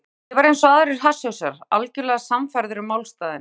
Ég var einsog aðrir hasshausar, algjörlega sannfærður um málstaðinn.